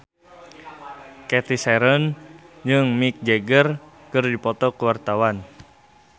Cathy Sharon jeung Mick Jagger keur dipoto ku wartawan